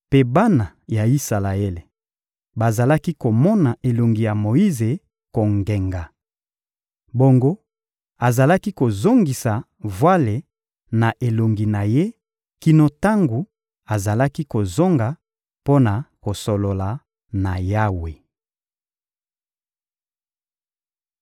Mpe bana ya Isalaele bazalaki komona elongi ya Moyize kongenga. Bongo azalaki kozongisa vwale na elongi na ye kino tango azalaki kozonga mpo na kosolola na Yawe.